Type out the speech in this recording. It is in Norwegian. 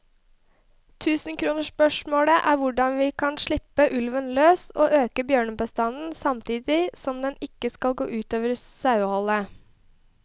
Tusenkronersspørsmålet er hvordan vi kan slippe ulven løs og øke bjørnebestanden samtidig som det ikke skal gå ut over saueholdet.